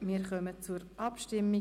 Wir kommen zur Abstimmung.